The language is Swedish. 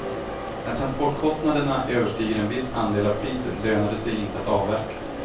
När transportkostnaderna överstiger en viss andel av priset lönar det sig inte att avverka.